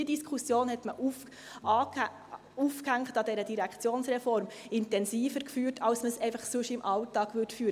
Diese Diskussion, aufgehängt an der Direktionsreform, führte man intensiver, als wenn man sie einfach sonst im Alltag führen würde.